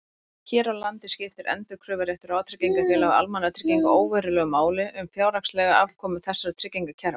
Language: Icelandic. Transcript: Hér á landi skiptir endurkröfuréttur vátryggingafélaga og almannatrygginga óverulegu máli um fjárhagslega afkomu þessara tryggingakerfa.